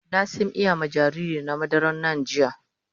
Na sim iya ma jariri na madaran NAN jiya.